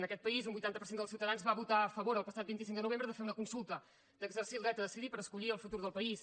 en aquest país un vuitanta per cent dels ciutadans va votar a favor el passat vint cinc de novembre de fer una consulta d’exercir el dret a decidir per escollir el futur del país